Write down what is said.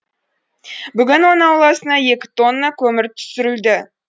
бүгін оның ауласына екі тонна көмір түсірілді